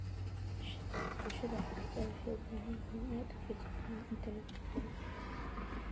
Bulshada xuduuduhu waxay u baahan yihiin inay aad u feejiganaadaan inta lagu jiro aafo.